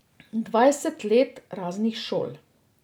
Dvajset let raznih šol.